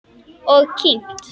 Og kyngt.